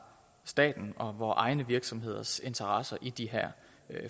statens og vore egne virksomheders interesser i de her